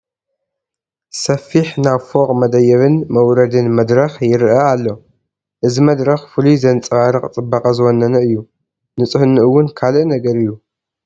ሰፍሕ ናብ ፎቕ መደየብን መውረድን መድረኽ ይርአ ኣሎ፡፡ እዚ መድረኽ ፍሉይ ዘንፀባርቕ ፅባቐ ዝወነነ እዩ፡፡ ንፅህንኡ እውን ካልእ ነገር እዩ፡፡